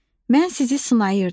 Mən sizi sınayırdım.